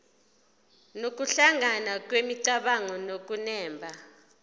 nokuhlangana kwemicabango nokunemba